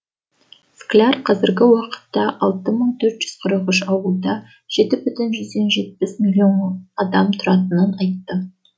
скляр қазіргі уақытта алты мың төрт жүз қырық үш ауылда жеті бүтін жүзден жетпіс миллион адам тұратынын айтты